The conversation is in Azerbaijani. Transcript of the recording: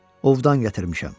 Ovdan gətirmişəm.